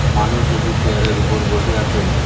মানুষ দুটি চেয়ারের ওপর বসে আছেন।